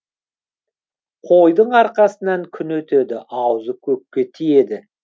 қойдың арқасынан күн өтеді аузы көкке тиеді